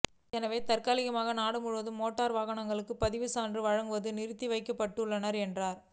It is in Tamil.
எனவே தற்காலிகமாக நாடு முழுவதும் மோட்டார் வாகனங்களுக்கும் பதிவு சான்றிதழ் வழங்குவது நிறுத்தி வைக்கப்பட்டுள்ளது என்றார்